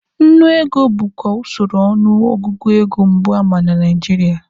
Nnu ego bukwa usoro ọnụ ọgụgụ ego mbụ ama na Nigeria.